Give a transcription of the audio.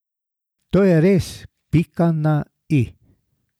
To je res pika na i.